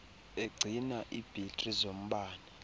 egcina ibhetri zombane